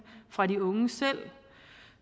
fra de unge selv